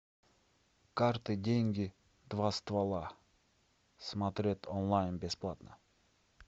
карты деньги два ствола смотреть онлайн бесплатно